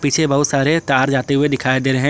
से बहुत सारे तार जाते हुए दिखाई दे रहे हैं।